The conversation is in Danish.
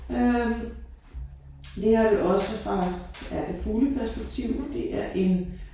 Øh det her det også fra ja det fugleperspektiv det er en